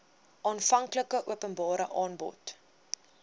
aanvanklike openbare aanbod